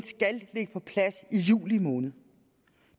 skal ligge på plads i juli måned